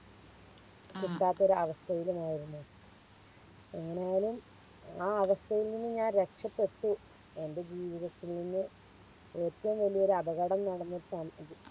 കിട്ടാത്തൊരവസ്ഥയിലുമായിരുന്നു അങ്ങനെ ഞാൻ ആ അവസ്ഥയിൽ നിന്നും ഞാൻ രക്ഷപ്പെട്ടു എൻറെ ജീവിതത്തിൽ നിന്ന് ഏറ്റോം വലിയൊരു അപകടം നടന്ന